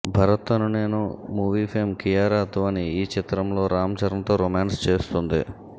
భరత్ అనే నేను movie fame Kiara Advani ఈ చిత్రంలో రామ్ చరణ్తో రొమాన్స్ చేస్తోంది